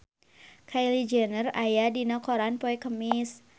Kylie Jenner aya dina koran poe Kemis